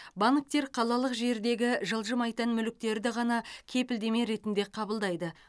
банктер қалалық жердегі жылжымайтын мүліктерді ғана кепілдеме ретінде қабылдайды